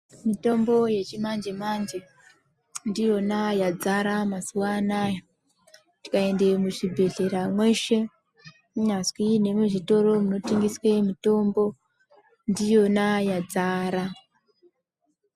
Mitombo yechimanje-manje ndiyona yadzara mazuva anaya. Tikaende muchibhedhlera mweshe kunyazwi nemuzvitoro munotengeswe mitombo ndiyona yadzara.